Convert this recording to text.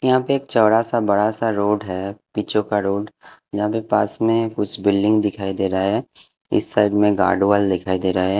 यहाँ पे एक चौड़ा सा बड़ा सा रोड है पीछों का रोड जहाँ पे पास में कुछ बिल्डिंग दिखाई दे रहा है इस साइड में गार्डवाल दिखाई दे रहा है।